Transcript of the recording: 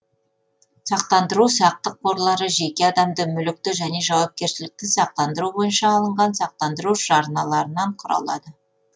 сақтандыру сақтық қорлары жеке адамды мүлікті және жауапкершілікті сақтандыру бойынша алынған сақтандыру жарналарынан құралады